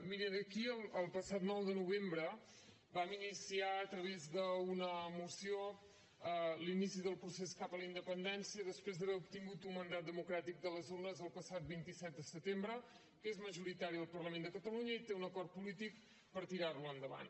mirin aquí el passat nou de novembre vam iniciar a través d’una moció l’inici del procés cap a la independència després d’haver obtingut un mandat democràtic de les urnes el passat vint set de setembre que és majoritari al parlament de catalunya i té un acord polític per tirar lo endavant